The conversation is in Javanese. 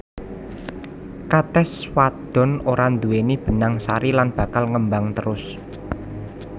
Katès wadon ora nduwèni benang sari lan bakal ngembang terus